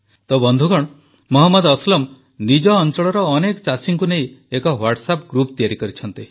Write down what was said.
ତ ବନ୍ଧୁଗଣ ମହମ୍ମଦ ଅସଲମ ନିଜ ଅଂଚଳର ଅନେକ ଚାଷୀଙ୍କୁ ନେଇ ଏକ ହ୍ୱାଟ୍ସଆପ୍ ଗ୍ରୁପ୍ ତିଆରି କରିଛନ୍ତି